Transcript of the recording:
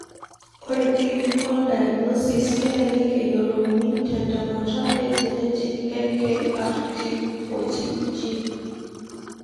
Ore clinical diagnosis kelelek eyiolouni te ntemata e genetic e KRT14 gene.